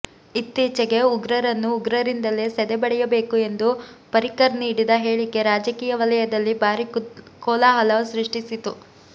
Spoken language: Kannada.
ಇತ್ತೀಚೆಗೆ ಉಗ್ರರನ್ನು ಉಗ್ರರಿಂದಲೇ ಸದೆಬಡೆಯಬೇಕು ಎಂದು ಪರಿಕ್ಕರ್ ನೀಡಿದ ಹೇಳಿಕೆ ರಾಜಕೀಯ ವಲಯದಲ್ಲಿ ಭಾರಿ ಕೋಲಾಹಲ ಸೃಷ್ಟಿಸಿತ್ತು